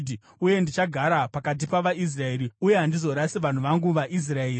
Uye ndichagara pakati pavaIsraeri, uye handizorasi vanhu vangu vaIsraeri.”